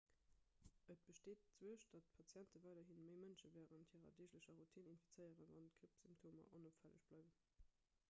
et besteet d'suerg datt patiente weiderhi méi mënschen wärend hirer deeglecher routine infizéieren wann d'grippsymptomer onopfälleg bleiwen